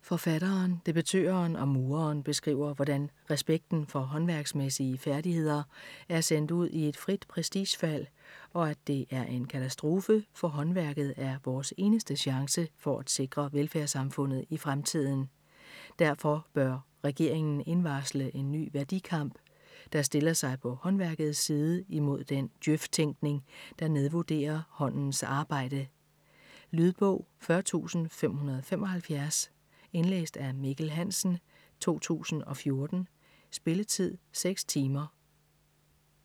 Forfatteren, debattøren og mureren beskriver hvordan respekten for håndværksmæssige færdigheder er sendt ud i et frit prestigefald og at det er en katastrofe, for håndværket er vores eneste chance for at sikre velfærdssamfundet i fremtiden. Derfor bør regeringen indvarsle en ny værdikamp, der stiller sig på håndværkets side imod den djøf-tænkning, der nedvurderer håndens arbejde. Lydbog 40575 Indlæst af Mikkel Hansen, 2014. Spilletid: 6 timer, 0 minutter.